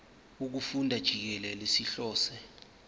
wokufunda jikelele sihlose